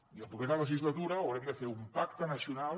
i a la propera legislatura haurem de fer un pacte nacional